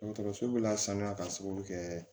Dɔgɔtɔrɔso bɛ lasanuya k'a sababu kɛ